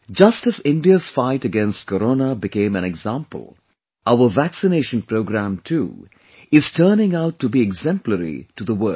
Just as India's fight against Corona became an example, our vaccination Programme too is turning out to be exemplary to the world